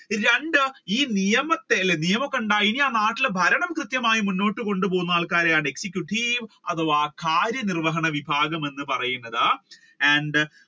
രണ്ടു ഈ നിയമത്തെ അല്ലെ നിയമം ഉണ്ടായി ഇനി ആ നാട്ടിൽ ഭരണം കൃത്യമായി കൊണ്ടുപോകുന്ന ആൾകാരെയാണ് executive അഥവാ കാര്യനിര്വഹണ വിഭാഗം എന്ന് പറയുന്നത്. and